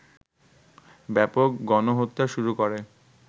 ব্যাপক গণহত্যা শুরু করে